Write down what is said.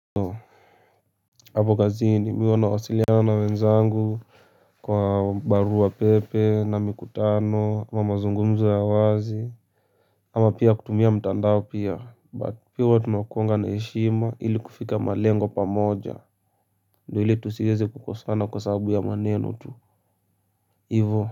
Hapo kazini mimi huwa nawasiliana na wenzangu kwa barua pepe na mikutano ama mazungumzo ya wazi. Ama pia kutumia mtandao pia but pia tunakuanga na heshima ili kufika malengo pamoja ndo ili tusiweze kukosana kwa sababu ya manenu tu ivo. Kwa hivyo.